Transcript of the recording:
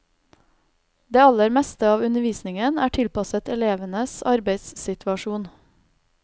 Det aller meste av undervisningen er tilpasset elevenes arbeidssituasjon.